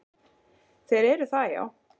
Þeir eru það, já.